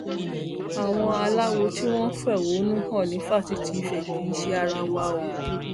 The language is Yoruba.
àwọn aláwo tí wọn fẹhónú hàn ní fásitì ìfẹ kì í ṣe ara wa o